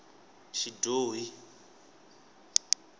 xidyohi